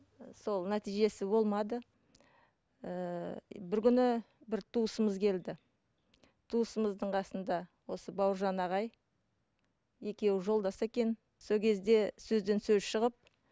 і сол нәтижесі болмады ііі бір күні бір туысымыз келді туысымыздың қасында осы бауыржан ағай екеуі жолдас екен сол кезде сөзден сөз шығып